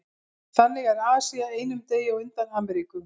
Þannig er Asía einum degi á undan Ameríku.